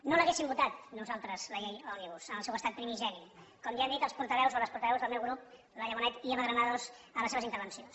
no l’hauríem votada nosaltres la llei òmnibus en el seu estat primigeni com ja han dit els portaveus o les portaveus del meu grup laia bonet i eva granados en les seves intervencions